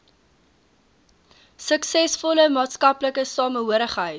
suksesvolle maatskaplike samehorigheid